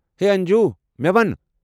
ہے انجوٗ! مے٘ ون ۔